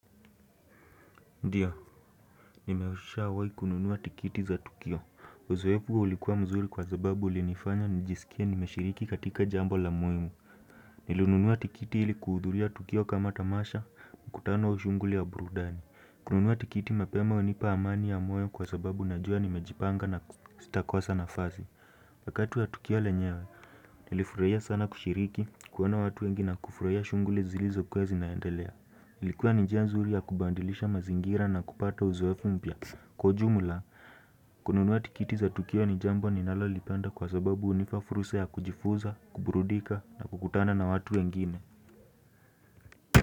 Ndiyo, nimeshawai kununua tikiti za Tukio. Uzoefu ulikuwa mzuri kwa sababu ulinifanya nijisikia nimeshiriki katika jambo la muhimu. Nilinunua tikiti ilikuhudhuriaTukio kama tamasha, mkutano wa shughuli ya burudani. Kununua tikiti mapema hunipa amani ya moyo kwa sababu najua nimejipanga na sitakosa nafasi. Wakati wa Tukio lenyewe, nilifurahia sana kushiriki, kuona watu wengi na kufurahia shunguli zilizokuwa zinaendelea. Ilikuwa ni njia nzuri ya kubadilisha mazingira na kupata uzoefu mpya. Kwa ujumla, kununua tikiti za Tukio ni jambo ninalolipenda kwa sababu hunipa fursa ya kujifunza, kuburudika na kukutana na watu wengine.